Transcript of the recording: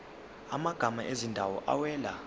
amagama ezindawo awela